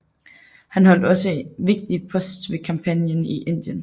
Han holdt også en vigtig post ved kampagnen i Indien